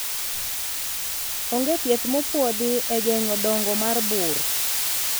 onge thieth mopuodhi e geng'o dongo mar bur